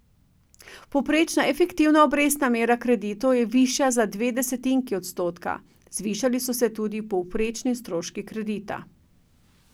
Povprečna efektivna obrestna mera kreditov je višja za dve desetinki odstotka, zvišali so se tudi povprečni stroški kredita.